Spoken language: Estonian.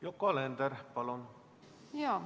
Yoko Alender, palun!